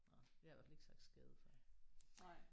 Nåh jeg har i hvert fald ikke sagt skade før